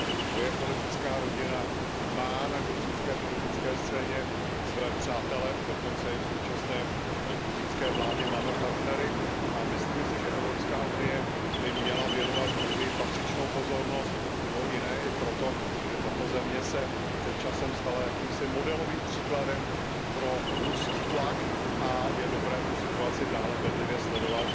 Moje politická rodina má na gruzínské politické scéně své přátele, dokonce i v současné gruzínské vládě máme partnery a myslíme si, že Evropská unie by měla věnovat Gruzii patřičnou pozornost, mimo jiné i proto, že tato země se před časem stala jakýmsi modelovým příkladem pro ruský tlak a je dobré tu situaci dále bedlivě sledovat